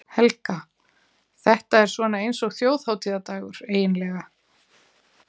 Helga: Þetta er svona eins og þjóðhátíðardagur, eiginlega?